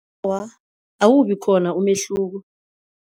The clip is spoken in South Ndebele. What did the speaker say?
Awa, awubikhona umehluko.